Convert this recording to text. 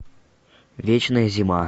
вечная зима